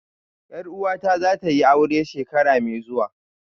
Yar uwata zatayi aure shekara mai zuwa